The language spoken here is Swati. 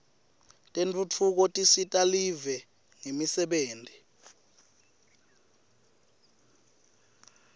tentfutfuko tisita live ngemisebenti